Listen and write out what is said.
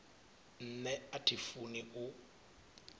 nṋe a thi funi u